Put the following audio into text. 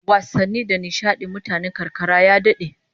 Wasanni da nishadin mutanen karkara ya dade